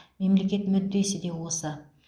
мемлекет мүддесі де осы